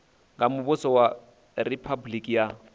nga muvhuso wa riphabuliki ya